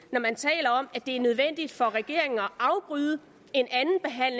er det er nødvendigt for regeringen at afbryde